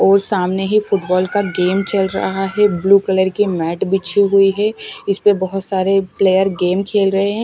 और सामने ही फुटबॉल का गेम चल रहा है। ब्लू कलर की मैट बिछी हुई है। इस पे बहोत सारे प्लेयर गेम खेल रहे हैं।